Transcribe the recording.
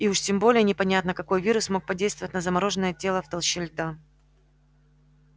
и уж тем более непонятно какой вирус мог подействовать на замороженное тело в толще льда